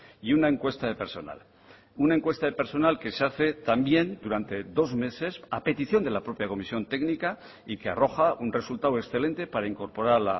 y una encuesta de personal una encuesta de personal que se hace también durante dos meses a petición de la propia comisión técnica y que arroja un resultado excelente para incorporar